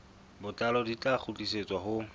botlalo di tla kgutlisetswa ho